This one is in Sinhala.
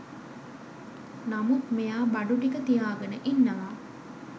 නමුත් මෙයා බඩු ටික තියාගෙන ඉන්නවා